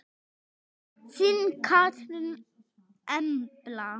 Þín Katrín Embla.